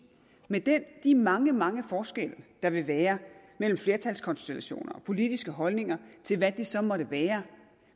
med de mange mange forskelle der vil være mellem flertalskonstellationer og politiske holdninger til hvad det så måtte være